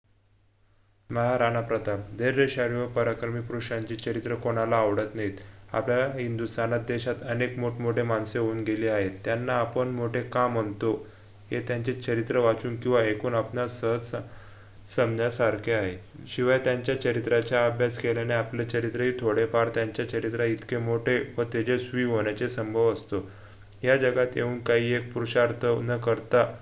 संन्यासारखे आहॆ शिवाय त्यांच्या चरित्राच्या अभ्यास केल्याने आपले चरित्रही थोडेफार त्यांच्या चरित्राइतके मोठे व तेजस्वी होण्याचे संभव असतो ह्या जगात येऊन काही एक पुरुषार्थ न करता